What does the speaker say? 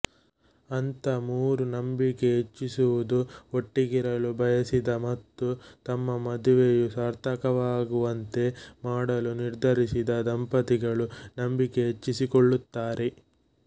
ಹಂತ ಮೂರು ನಂಬಿಕೆ ಹೆಚ್ಚಿಸುವುದು ಒಟ್ಟಿಗಿರಲು ಬಯಸಿದ ಮತ್ತು ತಮ್ಮ ಮದುವೆಯು ಸಾರ್ಥಕವಾಗುವಂತೆ ಮಾಡಲು ನಿರ್ಧರಿಸಿದ ದಂಪತಿಗಳು ನಂಬಿಕೆ ಹೆಚ್ಚಿಸಿಕೊಳ್ಳುತ್ತಾರೆ